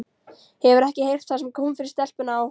Hefurðu ekki heyrt það sem kom fyrir stelpuna á